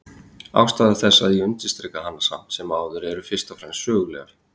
Ástæður þess að ég undirstrika hana samt sem áður eru fyrst og fremst sögulegar.